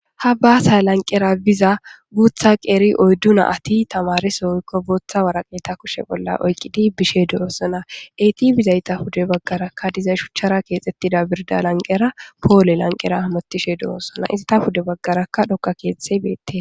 Ha basa lanqera biza guta qeri oydu nati tamareso woyko bota woraqate kushe bola oyqidi bishe de'osona iti bizayta pude bagaraka diza shuchara gitetiza birda lanqera pole lanqera hamutishe de'osona enta pude bagaraka dhoqa kethi betes.